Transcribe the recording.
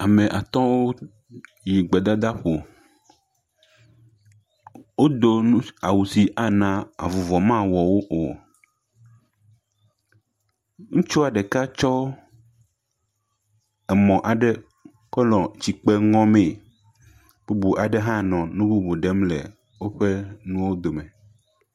Ame atɔ̃wo yi gbedadaƒo. Wodo nu, awu si mana avuvɔ mawɔ wo o. Ŋutsua ɖeka tsɔ emɔ aɖe kɔ nɔ tsike ŋɔmee. Bubu aɖe hã nɔ nu bubu ɖem le nuwo dome.